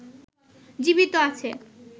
জীবিত আছে